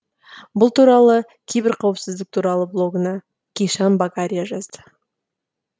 бұл туралы киберқауіпсіздік туралы блогында кишан багария жазды